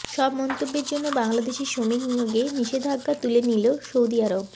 সব মন্তব্যের জন্য বাংলাদেশি শ্রমিক নিয়োগে নিষেধাজ্ঞা তুলে নিল সৌদি আরব